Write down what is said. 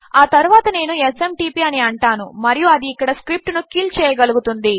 ఆ తరువాత నేను SMTPఅని అంటాను మరియు అది ఇక్కడ స్క్రిప్ట్ ను కిల్ చేయగలుగుతుంది